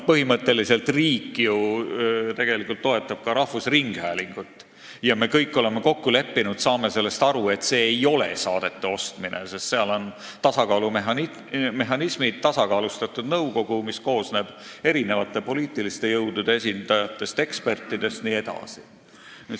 Põhimõtteliselt riik ju tegelikult toetab ka rahvusringhäälingut ja me kõik oleme kokku leppinud, saame sellest aru, et see ei ole saadete ostmine, sest seal on tasakaalumehhanismid, tasakaalustatud nõukogu, mis koosneb eri poliitiliste jõudude esindajatest, ekspertidest jne.